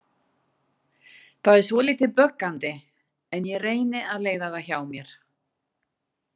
Það er svolítið böggandi en ég reyni að leiða það hjá mér.